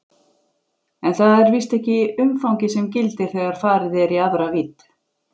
En það er víst ekki umfangið sem gildir þegar farið er í aðra vídd.